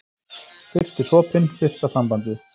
Fyrsti sopinn, fyrsta sambandið.